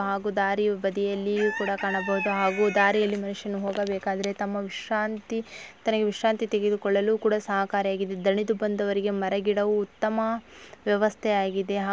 ಹಾಗೂ ದಾರಿ ಬದಿಯಲ್ಲಿ ಕೂಡ ಕಾಣಬಹುದು ಹಾಗೂ ದಾರಿಯಲ್ಲಿ ಮನುಷ್ಯನು ಹೋಗಬೇಕಾದರೆ ತಮ್ಮ ವಿಶ್ರಾಂತಿ ತನಗೆ ವಿಶ್ರಾಂತಿ ತೆಗೆದುಕೊಳ್ಳಲು ಕೂಡ ಸಹಕಾರಿ ಆಗಿದೆ ದಣಿದು ಬಂದವರಿಗೆ ಮರ ಗಿಡವು ಉತ್ತಮ ವ್ಯವಸ್ಥೆ ಆಗಿದೆ.